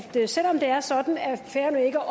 det at selv om det er sådan at færøerne ikke